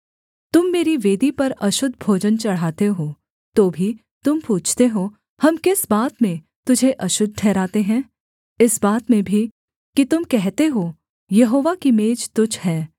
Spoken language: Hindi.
तुम मेरी वेदी पर अशुद्ध भोजन चढ़ाते हो तो भी तुम पूछते हो हम किस बात में तुझे अशुद्ध ठहराते हैं इस बात में भी कि तुम कहते हो यहोवा की मेज तुच्छ है